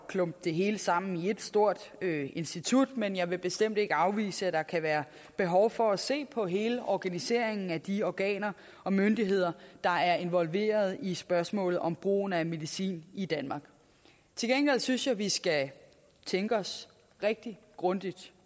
at klumpe det hele sammen i et stort institut men jeg vil bestemt ikke afvise at der kan være behov for at se på hele organiseringen af de organer og myndigheder der er involveret i spørgsmål om brugen af medicin i danmark til gengæld synes jeg at vi skal tænke os rigtig grundigt